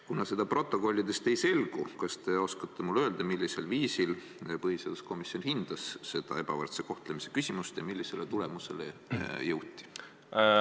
" Kuna seda protokollidest ei selgu, kas te oskate mulle öelda, millisel viisil põhiseaduskomisjon hindas seda ebavõrdse kohtlemise küsimust ja millisele tulemusele jõuti?